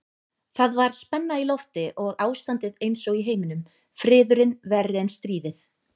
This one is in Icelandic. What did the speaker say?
Það var spenna í lofti og ástandið einsog í heiminum, friðurinn verri en stríðið.